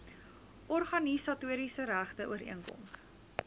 organisatoriese regte ooreenkoms